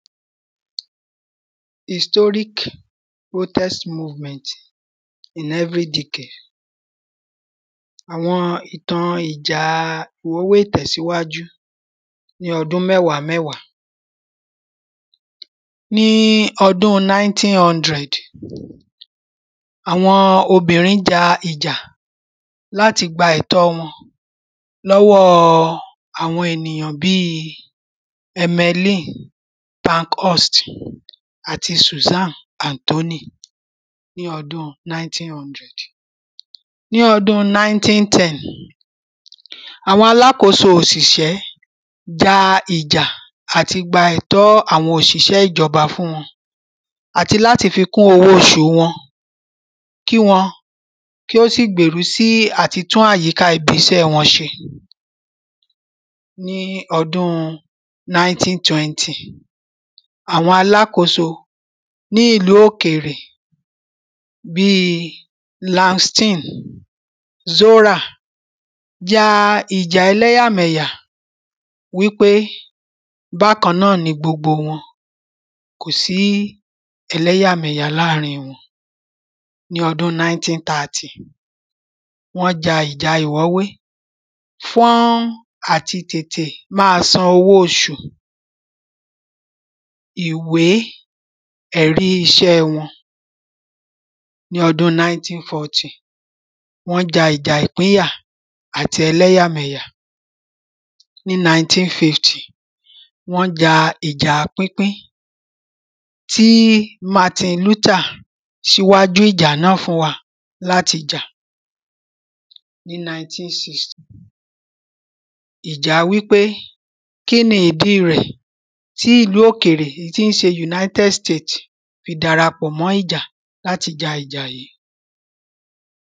Historic protest movement in every decade Àwọn ìtàn ìjà ìmúwò ìtẹ̀síwájú ní ọdún mẹ́wàá mẹ́wàá. Ní ọdún nineteen hundred àwọn obìnrin ja ìjà láti gba ẹ̀tọ́ wọn lọ́wọ́ àwọn ènìyàn bí ẹmẹ́lìn bancost àti susan anthony ní ọdún nineteen hundred. Ní ọdún nineteen ten àwọn alákóso òṣìṣẹ́ ja ìjà láti gba ẹ̀tọ́ àwọn òṣìṣẹ́ ìjọba fún wọn àti láti fi kún owó oṣù wọn kí wọn kí wọn ó sì gbèrú sí àti tún àyíká ibiṣẹ́ wọn ṣe. Ní ọdún nineteen twenty àwọn alákóso ní ìlú òkèrè bí lámstìn zórà ja ìjà ẹléyà mẹ̀yà wípé bákan náà ni gbogbo wọn kò sí ẹléyà mẹ̀yà láàrin wọn. Ní ọdún nineteen thirty wọ́n ja ìjà ìwọ́wé fún àti tètè má san owó oṣù ìwé èrí iṣẹ́ wọn. Ní ọdún nineteen fourty wọ́n ja ìjà ìpínyà ati ẹléyà mẹ̀yà. Ní nineteen fifty wọ́n ja ìjà pínpín tí martin luther ṣíwájú ìjà náà fún wa láti jà. Ní nineteen sixty ìja wípé kíni ìdí rẹ̀ tí ìlú òkèrè tí ṣe united states fi dara pọ̀ mọ́ ìjà láti ja ìjà yìí.